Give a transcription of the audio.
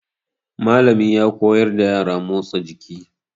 Mallami ya koyar da yara motsa jiki.